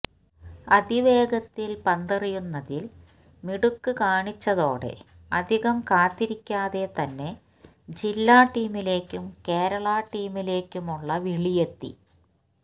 അതിവേഗത്തിൽ പന്തെറിയുന്നതിൽ മിടുക്ക് കാണിച്ചതോടെ അധികം കാത്തിരിക്കാതെ തന്നെ ജില്ലാ ടീമിലേക്കും കേരള ടീമിലേക്കുമുള്ള വിളിയെത്തി